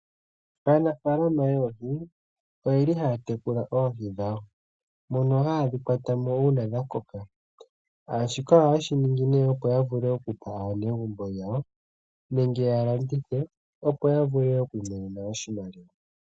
Aanafaalama yoohi, oye li haya tekula oohi dhawo, mono ha ye dhi kwata mo uuna dha koka, shika ohaye shi ningi nee opo yavule okupa aanegumbo yawo, nenge ya landithe opo yavule okwiimonena oshimaliwa.